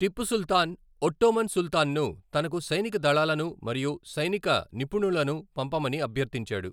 Tipu Sultan Ottoman సుల్తాన్ను తనకు సైనిక దళాలను మరియు సైనిక నిపుణులను పంపమని అభ్యర్థించాడు.